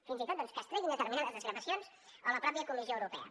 fins i tot doncs que es treguin determinades desgravacions o la mateixa comissió europea